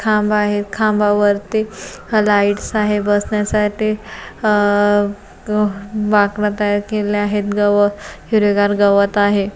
खांब आहे खांबावरती लाइट्स आहे बसण्यासाठी अह बाकडा तयार केलेले आहेत गव हिरवीगार गवत आहे.